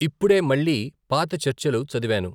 ఇప్పుడే మళ్ళీ పాత చర్చలు చదివాను.